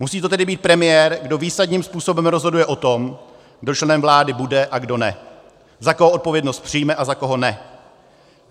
Musí to tedy být premiér, kdo výsadním způsobem rozhoduje o tom, kdo členem vlády bude a kdo ne, za koho odpovědnost přijme a za koho ne.